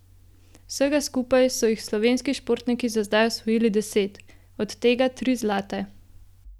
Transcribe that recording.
Vsega skupaj so jih slovenski športniki za zdaj osvojili deset, od tega tri zlate.